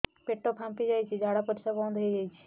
ପେଟ ଫାମ୍ପି ଯାଇଛି ଝାଡ଼ା ପରିସ୍ରା ବନ୍ଦ ହେଇଯାଇଛି